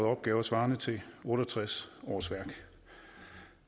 opgaver svarende til otte og tres årsværk